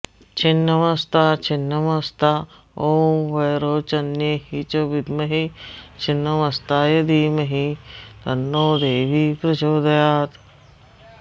छिन्नमस्ता छिन्नमस्ता ॐ वैरोचन्यै च विद्महे छिन्नमस्तायै धीमहि तन्नो देवी प्रचोदयात्